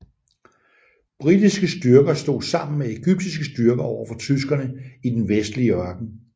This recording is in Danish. Britiske styrker stod sammen med ægyptiske styrker overfor tyskerne i den vestlige ørken